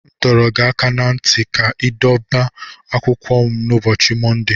M dọrọ gị aka ná ntị ka ị dobe akwụkwọ m n'ụbọchị Mọnde.